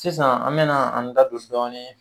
Sisan an mɛna an da don dɔɔni